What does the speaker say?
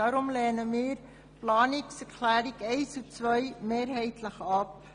Deshalb lehnen wir die Planungserklärungen 1 und 2 mehrheitlich ab.